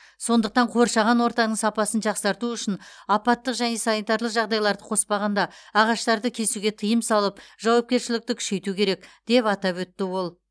сондықтан қоршаған ортаның сапасын жақсарту үшін апаттық және санитарлық жағдайларды қоспағанда ағаштарды кесуге тыйым салып жауапкершілікті күшейту керек деп атап өтті ол